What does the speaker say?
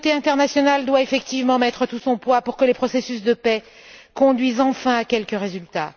La communauté internationale doit effectivement peser de tout son poids pour que les processus de paix conduisent enfin à quelque résultat.